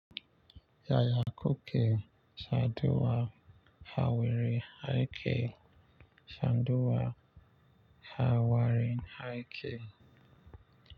Yaya kuke saduwa ha wari haike saduwa ha warin haike.